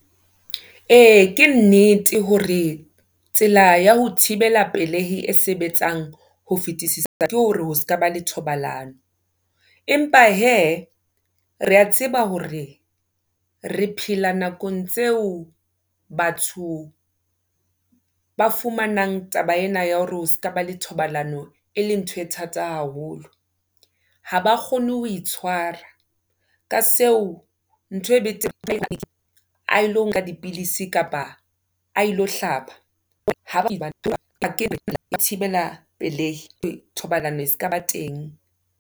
Ee, ke nnete hore tsela ya ho thibela pelehi e sebetsang ho fetisisa ke hore ho ska ba le thobalano. Empa hee, re a tseba hore re phela nakong tseo batho ba fumanang taba ena ya hore o ska ba le thobalano eleng ntho e thata haholo. Ha ba kgone ho itshwara, ka seo ntho e a ilo nka dipilisi kapa a ilo hlaba thibela pelehi, thobalano e skaba teng.